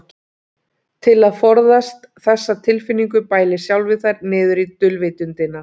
Til að forðast þessa tilfinningu bælir sjálfið þær niður í dulvitundina.